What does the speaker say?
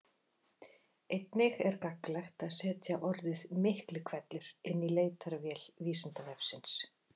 Einnig er gagnlegt að setja orðið Miklihvellur inn í leitarvél Vísindavefsins.